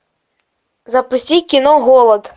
запусти кино голод